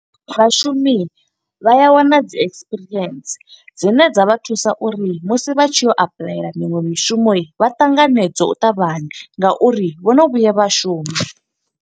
Vhashumi vha ya wana dzi ekisipirientsi dzine dza vha thusa uri musi vha tshi yo u apuḽayela miṅwe mishumo, vha ṱanganedzwe u ṱavhanya nga uri vhono vhuya vha shuma.